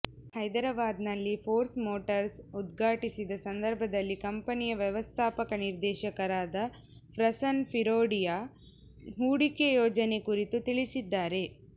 ಹೈದರಾಬಾದಿನಲ್ಲಿ Force Motors ಉದ್ಘಾಟಿಸಿದ ಸಂದರ್ಭದಲ್ಲಿ ಕಂಪನಿಯ ವ್ಯವಸ್ಥಾಪಕ ನಿರ್ದೇಶಕರಾದ ಪ್ರಸನ್ ಫಿರೊಡಿಯಾ ಹೂಡಿಕೆ ಯೋಜನೆ ಕುರಿತು ತಿಳಿಸಿದ್ದಾರೆ